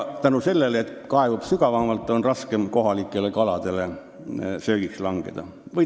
Kuna ta kaevub sügavamalt, on raskem kohalikele kaladele söögiks langeda.